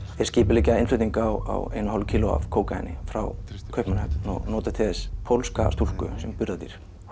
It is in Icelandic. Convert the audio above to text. þeir skipuleggja innflutning á einu og hálfu kílói af kókaíni frá Kaupmannahöfn og nota til þess pólska stúlku sem er burðardýr